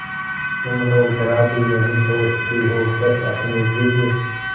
तुम लोग जरा भी नहीं सोचती हो बस अपनी जिद